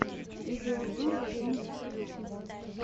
видеообзор вадима киселева